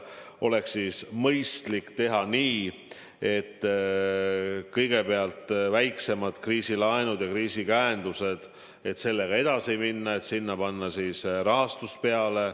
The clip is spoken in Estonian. On pakutud, et mõistlik oleks teha nii, et kõigepealt edasi minna väiksemate kriisilaenude ja käendustega, sinna panna rahastus peale.